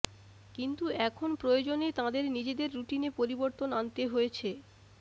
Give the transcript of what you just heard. কিন্তু এখন প্রয়োজনে তাঁদের নিজেদের রুটিনে পরিবর্তন আনতে হয়েছে